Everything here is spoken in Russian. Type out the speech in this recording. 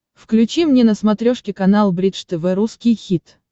включи мне на смотрешке канал бридж тв русский хит